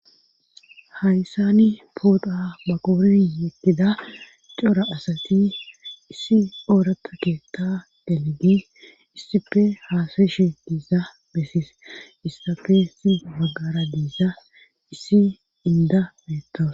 Hayssani pooda maquuri yekida cora asati issi oorata keetta delegi issife haasayshe diiza bessies issafe issi maggara diisa issi inda beetto.